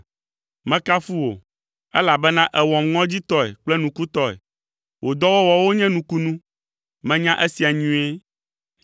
Mekafu wò, elabena èwɔm ŋɔdzitɔe kple nukutɔe. Wò dɔwɔwɔwo nye nukunu, menya esia nyuie.